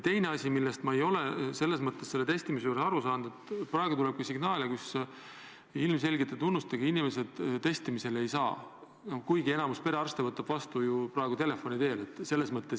Teine asi, millest ma ei ole testimise puhul aru saanud, on see, et praegu tuleb ka signaale, et ilmselgete haigustunnustega inimesed testimisele ei saa, kuigi enamik perearste praegu telefoni teel neid ju ära kuulab.